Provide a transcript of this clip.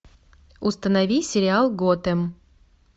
установи сериал готэм